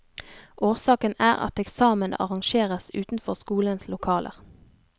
Årsaken er at eksamen arrangeres utenfor skolens lokaler.